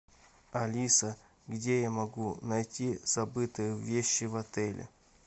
алиса где я могу найти забытые вещи в отеле